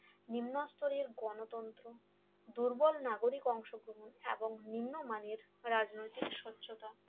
নিম্ন স্তরের গণতন্ত্র দুর্বল নাগরিক অংশ গ্রহণ এবং নিম্নমানের রাজনৈতিক সহ্যতা